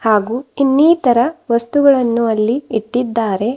ಹಾಗು ಇನ್ನಿತರ ವಸ್ತುಗಳನ್ನು ಅಲ್ಲಿ ಇಟ್ಟಿದ್ದಾರೆ.